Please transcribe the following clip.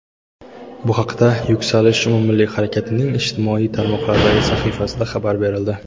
Bu haqda "Yuksalish" umummilliy harakatining ijtimoiy tarmoqlardagi sahifasida xabar berildi.